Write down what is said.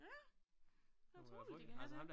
Ja det utroligt de kan have det